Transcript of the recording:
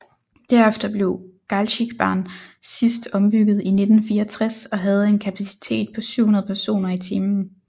Derefter blev Galzigbahn sidst ombygget i 1964 og havde en kapacitet på 700 personer i timen